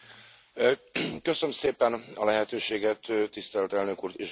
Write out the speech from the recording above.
Köszönöm szépen a lehetőséget, tisztelt Elnök Úr és Képviselő Úr!